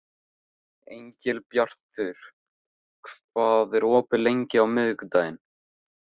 Engilbjartur, hvað er opið lengi á miðvikudaginn?